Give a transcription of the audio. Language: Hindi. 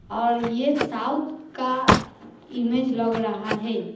और ये साउथ का इमेज लग रहा है।